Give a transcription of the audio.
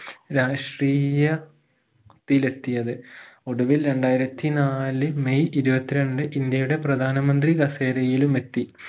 രാഷ്ട്രീയ ത്തിലെത്തിയത് ഒടുവിൽ രണ്ടായിരത്തി നാല് മെയ് ഇരുപത്തിരണ്ട് ഇന്ത്യയുടെ പ്രധാനമന്ത്രി കസേരയിലുമെത്തി